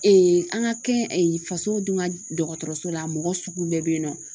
an ka kɛ faso dun ka dɔgɔtɔrɔso la mɔgɔ sugu bɛɛ bɛ yen nɔ